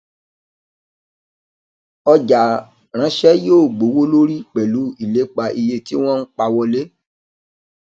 ọjà ránsẹ yóò gbowó lórí pẹlú ilépa iye tí wọn ń pawó wọlé